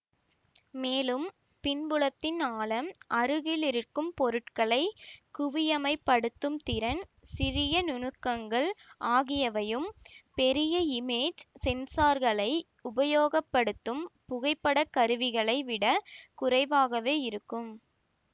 மேலும் பின்புலத்தின் ஆழம் அருகில் இருக்கும் பொருட்களை குவிமையப்படுத்தும் திறன் சிறிய நுணுக்கங்கள் ஆகியவையும் பெரிய இமேஜ் சென்சார்களை உபயோகப்படுத்தும் புகைப்படக் கருவிகளை விடக் குறைவாகவே இருக்கும்